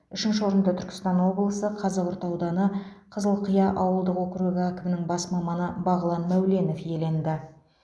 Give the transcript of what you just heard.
үшінші орынды түркістан облысы қазығұрт ауданы қызылқия ауылдық округі әкімінің бас маманы бағлан мәуленов иеленді